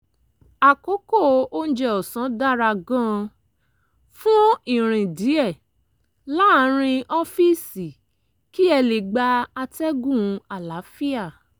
àkókò oúnjẹ ọ̀sán dára gan-an fún ìrìn díẹ̀ láàárín ọ́fíìsì kí ẹ lè gba atẹ́gùn àlàáfíà